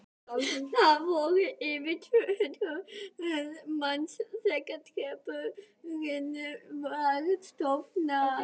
Þar voru yfir tvö hundruð manns þegar hreppurinn var stofnaður.